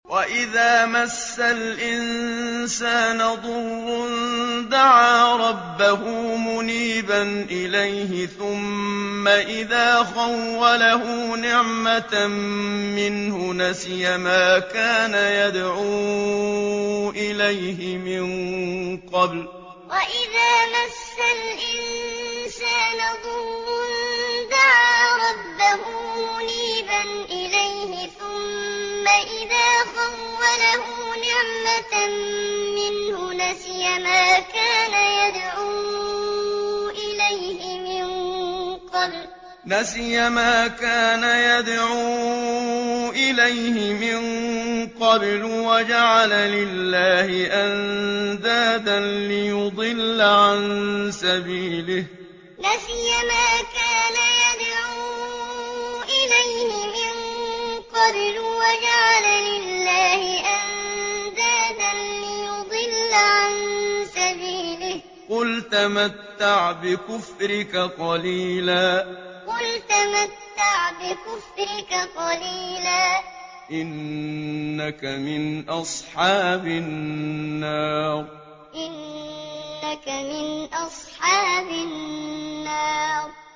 ۞ وَإِذَا مَسَّ الْإِنسَانَ ضُرٌّ دَعَا رَبَّهُ مُنِيبًا إِلَيْهِ ثُمَّ إِذَا خَوَّلَهُ نِعْمَةً مِّنْهُ نَسِيَ مَا كَانَ يَدْعُو إِلَيْهِ مِن قَبْلُ وَجَعَلَ لِلَّهِ أَندَادًا لِّيُضِلَّ عَن سَبِيلِهِ ۚ قُلْ تَمَتَّعْ بِكُفْرِكَ قَلِيلًا ۖ إِنَّكَ مِنْ أَصْحَابِ النَّارِ ۞ وَإِذَا مَسَّ الْإِنسَانَ ضُرٌّ دَعَا رَبَّهُ مُنِيبًا إِلَيْهِ ثُمَّ إِذَا خَوَّلَهُ نِعْمَةً مِّنْهُ نَسِيَ مَا كَانَ يَدْعُو إِلَيْهِ مِن قَبْلُ وَجَعَلَ لِلَّهِ أَندَادًا لِّيُضِلَّ عَن سَبِيلِهِ ۚ قُلْ تَمَتَّعْ بِكُفْرِكَ قَلِيلًا ۖ إِنَّكَ مِنْ أَصْحَابِ النَّارِ